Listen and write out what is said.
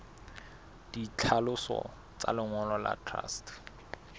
ditlhaloso tsa lengolo la truste